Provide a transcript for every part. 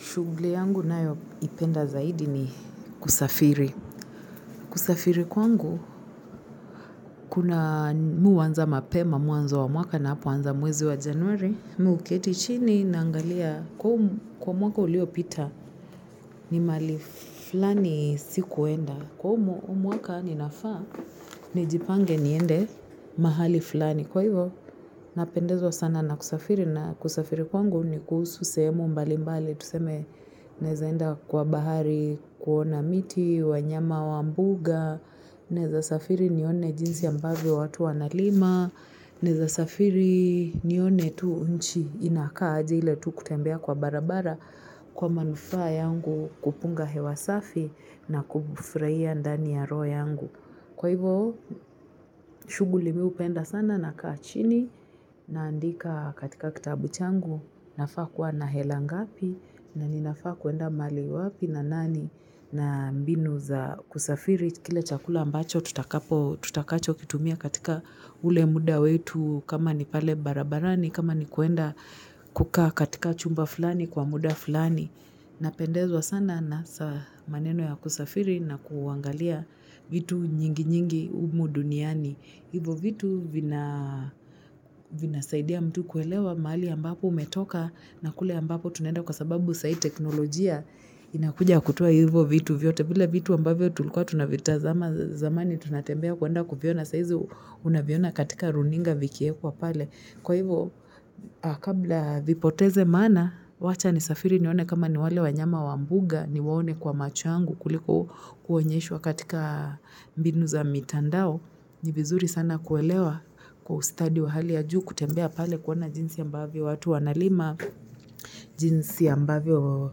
Shuguli yangu nayo ipenda zaidi ni kusafiri. Kusafiri kwangu, kuna mI huanza mapema, mwanza wa mwaka na apu anza mwezi wa januari. Muuketi chini naangalia, kwa mwaka ulio pita, ni mali flani si kuenda. Kwa mwaka ni nafa, nijipange niende mahali flani. Kwa hivo, napendezo sana na kusafiri. Na kusafiri kwangu ni kuhusu sehemu mbali mbali, tuseme nezaenda kwa bahari kuona miti, wanyama wa mbuga, naeza safiri nione jinsi ambavi watu wanalima, neza safiri nione tu nchi inakaajile tu kutembea kwa barabara kwa manufaa yangu kupunga hewa safi na kufurahia ndani ya roho yangu. Kwa hivyo, shughuli mi hupenda sana nakaa chini naandika katika kitabu changu nafaa kuwa na hela ngapi na ninafaa kuenda mali wapi na nani na mbinu za kusafiri. Kile chakula ambacho tutakacho kitumia katika ule muda wetu kama ni pale barabarani, kama ni kuenda kukaa katika chumba fulani kwa muda fulani. Napendezwa sana na maneno ya kusafiri na kuangalia vitu nyingi nyingi humu duniani. Hivo vitu vinasaidia mtu kuelewa mahali ambapo umetoka na kule ambapo tunenda kwa sababu sai teknolojia inakuja kutua hivo vitu vyote. Vila vitu ambavyo tulukua tunavita zamani tunatembea kuwanda kupiona saizi unaviona katika runinga vikie kwa pale. Kwa hivyo, kabla vipoteze maana, wacha ni safiri niwane kama niwale wanyama wambuga niwane kwa machuangu kuliko kuwenyeishwa katika binu za mitandao. Nibizuri sana kuelewa kwa ustadi wa hali ya juu kutembea pale kuona jinsi ya mbavyo watu wanalima, jinsi ya mbavyo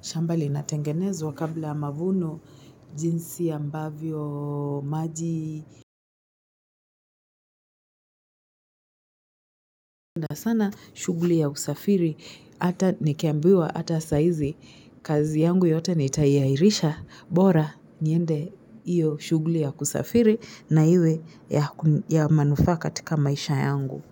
shambali natengenezwa kabla mavunoo, jinsi ya mbavyo maji. Sana shuguli ya usafiri hata nikambiwa hata saizi kazi yangu yote nitaiahirisha bora nyende iyo shughuli ya kusafiri na iwe ya manufaa katika maisha yangu.